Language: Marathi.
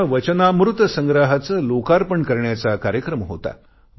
त्यांच्या वचनामृत संग्रहाचे लोकार्पण करण्याचा कार्यक्रम होता